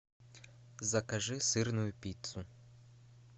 закажи сырную пиццу